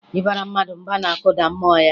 Ịbara mmadụ mba na-akụda mmụọ ya